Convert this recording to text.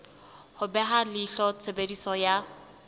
ho beha leihlo tshebediso ya